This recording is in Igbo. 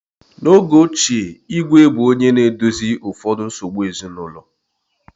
N’oge ochie, Igwe bụ onye na-edozi ụfọdụ nsogbu ezinụlọ.